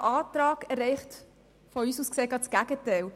Dieser Antrag erreicht aus unserer Sicht das genaue Gegenteil.